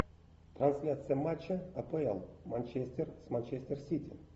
трансляция матча апл манчестер с манчестер сити